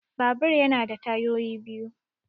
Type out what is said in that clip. Babur ya na da tayoyi biyu